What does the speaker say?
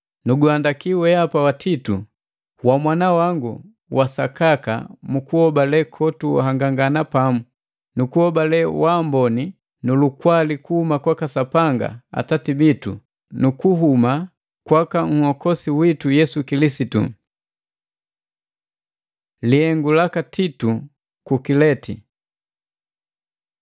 Nuguhandaki weapa wa Titu, wamwana wango wa sakaka mu kuhobale ko tuhangangana pamu. Nukulobe wamboni nu lukwali kuhuma kwaka Sapanga Atati bitu, nu kuhuma kwaka Nhokosi witu Yesu Kilisitu. Lihengu laka Titu ku Kilete